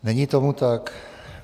Není tomu tak.